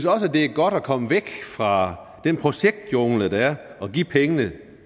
også det er godt at komme væk fra den projektjungle der er og give pengene